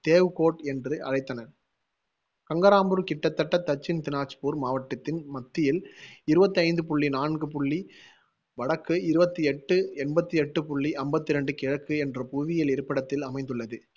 தேவ்கோட் என்று அழைத்தனர் கங்கரம்பூர் கிட்டத்தட்ட தட்சின் தினாஜ்பூர் மாவட்டத்தின் மத்தியில் இருவத்தி ஐந்து புள்ளி நான்கு புள்ளி வடக்கு இருவத்தி எட்டு எண்பத்தி எட்டு புள்ளி அம்பத்தி ரெண்டு கிழக்கு என்ற புவியியல் இருப்பிடத்தில் அமைந்துள்ளது